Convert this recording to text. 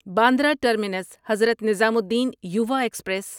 Bandra terminus Hazrat Nizamuddin Yuva express